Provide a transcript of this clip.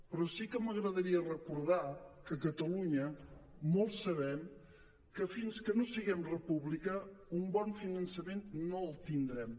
però sí que m’agradaria recordar que a catalunya molts sabem que fins que no siguem república un bon finançament no el tindrem